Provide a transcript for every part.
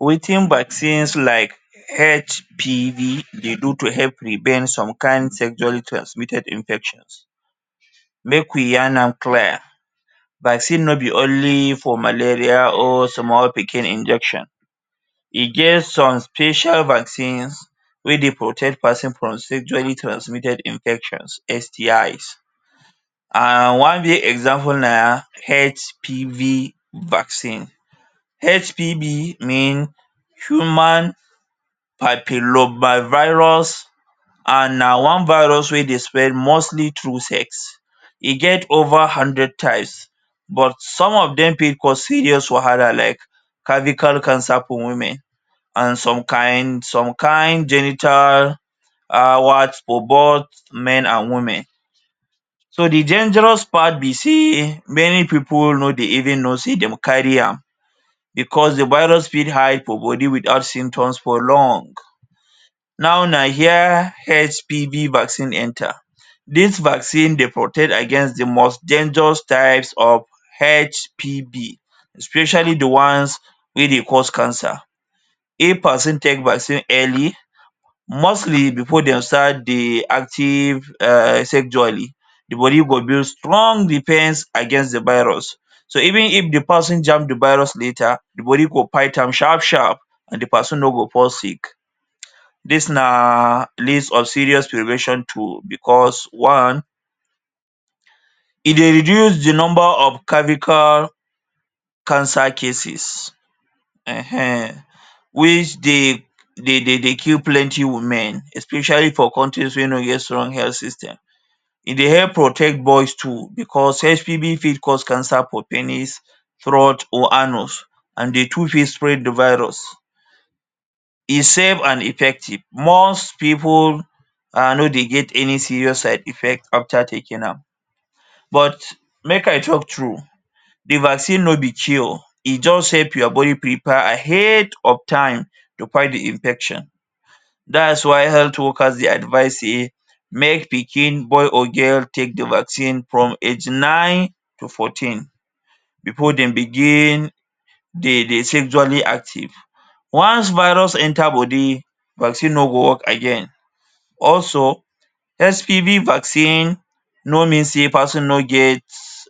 Wetin vaccines like HPV dey do to help prevent some kain sexually transmitted infections? Make we yarn am clear. Vaccine no be only for malaria or small pikin injection. E get some special vaccines wey dey protect peson from Sexually Transmitted Infections– STIs. And one big example na HPV vaccine. HPV means Human Papillomavirus. An na one virus wey dey spread mostly through sex. E get over hundred types. But some of dem fit cause serious wahala like cervical cancer for women and some kain some kain genital for both men and women. So, the dangerous part be sey many pipu no dey even know sey dem carry am, becos the virus fit hide for body without symptoms for long. Now, na here HPV vaccine enter. Dis vaccine dey protect against the most dangerous types of HPV, especially the ones wey dey cause cancer. If peson take vaccine early, mostly before dey start dey active um sexually, the body go build strong defence against the virus. So, even if the peson jam the virus later, the body go fight am sharp-sharp. and the peson no go fall sick. Dis na list of serious prevention tool becos one, e dey reduce the nomba of cervical cancer cases[um]ehn which dey de dey kill plenty women especially for countries wey no get strong health system. E dey help protect boys too becos HPV fit cause cancer for penis. throat or anus, an the two fit spread the virus. E safe an effective. Most pipu um no dey get any serious side-effect after taking am. But, make I talk true, the vaccine no be cure. E juz help your body prepare ahead of time, to fight the infection. That is why health workers dey advice sey make pikin–boy or girl–take the vaccine from age nine to fourteen before dem begin dey sexually active. Once virus enter body, vaccine no go work again. Also, HPV vaccine no mean sey peson no get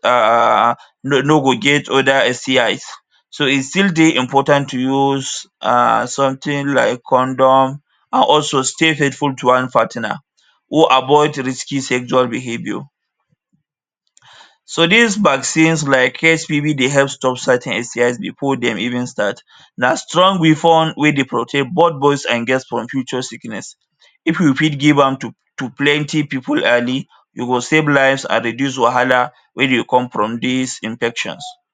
um no no go get other STIs. So, e still dey important to use um something like condom and also stay faithful to one partner who avoid risky sexual behaviour. So, dis vaccines like HPV dey help stop certain STIs before dem even start. Na strong weapon wey dey protect both boys and girls from future sickness. If you fit give am to to plenty pipu early, you go save lives and reduce wahala wey dey come from dis infections.